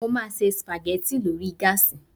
Mo máa se sùpàgẹ́ti lórí gáàsì